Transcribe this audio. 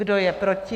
Kdo je proti?